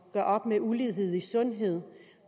gøre op med ulighed i sundhed